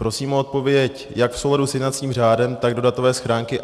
Prosím o odpověď jak v souladu s jednacím řádem, tak do datové schránky.